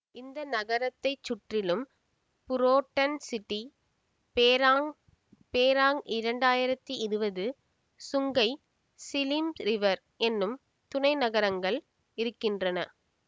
இந்த நகரத்தைச் சுற்றிலும் புரோட்டன் சிட்டி பேராங் பேராங் இரண்டாயிரத்தி இருவது சுங்கை சிலிம் ரிவர் எனும் துணை நகரங்கள் இருக்கின்றன